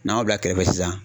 N'an y'o bila kɛrɛfɛ sisan.